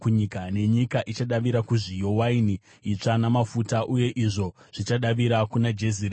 nenyika ichadavira kuzviyo, waini itsva namafuta, uye izvo zvichadavira kuna Jezireeri.